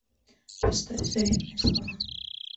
поставь заветные слова